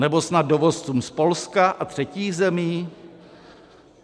Nebo snad dovozcům z Polska a třetích zemí?